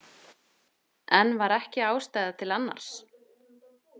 Enn var ekki ástæða til annars.